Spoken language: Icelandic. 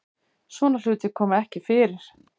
Svona hlutir koma ekki fyrir